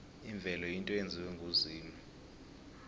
imvelo yinto eyenziwe nguzimu